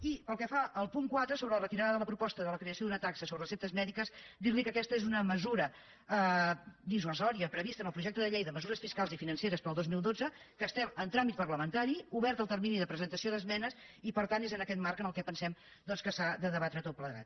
i pel que fa al punt quatre sobre la retirada de la proposta de la creació d’una taxa sobre receptes mèdiques dirli que aquesta és una mesura dissuasiva prevista en el projecte de llei de mesures fiscals i financeres per al dos mil dotze que estem en tràmit parlamentari obert el termini de presentació d’esmenes i per tant és en aquest marc en què pensem doncs que s’ha de debatre tot plegat